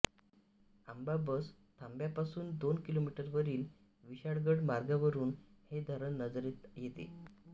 आंबा बस थांब्यापासून दोन किलोमीटरवरील विशाळगड मार्गावरून हे धरण नजरेत येते